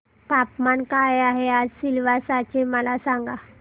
तापमान काय आहे आज सिलवासा चे मला सांगा